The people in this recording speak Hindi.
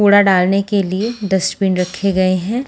कूड़ा डालने के लिए डस्टबिन रखे गए हैं।